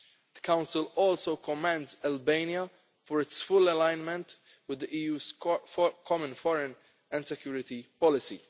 The Council also commends Albania for its full alignment with the EU's common foreign and security policy.